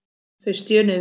Þau stjönuðu við mig.